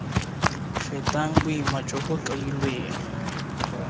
fetang boima jo bo kailweng